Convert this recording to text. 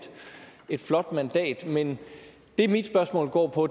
et flot mandat men det mit spørgsmål går på